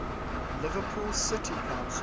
liverpool city council